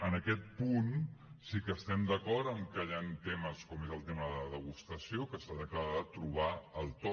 en aquest punt sí que estem d’acord en que hi han temes com és el tema de la degustació que s’ha d’acabar de trobar el to